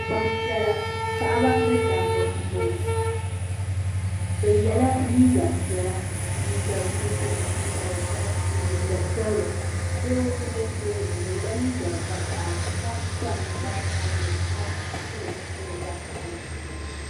Gban piela paɣ'ba ni dabba n boŋɔ. Bɛ yela liiga piela, liiga nuɣso, liiga ʒɛhi ni liiga sabila. Doo n ʒɛ tooni. O yela liiga vakahili ka kpa ninkpara sabinli ka pili zipil vakahili.